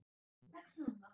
Tekst honum það?